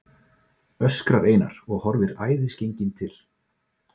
öskrar Einar og horfir æðisgenginn til